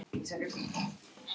hvíslar röddin.